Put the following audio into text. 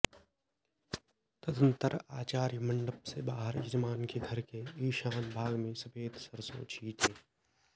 तदनन्तर आचार्य मण्डप से बाहर यजमान के घर के ईशान भाग में सफेद सरसों छींटे